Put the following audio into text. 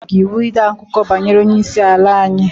Onye nyere gị iwu ịde akụkọ banyere Onye isi ala anyi?